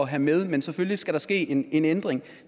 have med men selvfølgelig skal der ske en ændring